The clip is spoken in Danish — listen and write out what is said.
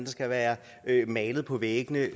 skal være malet på væggene